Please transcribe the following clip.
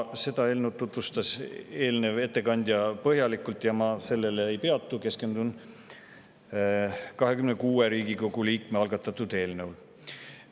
Seda eelnõu tutvustas eelmine ettekandja põhjalikult ja ma sellel ei peatu, keskendun 26 Riigikogu liikme algatatud eelnõule.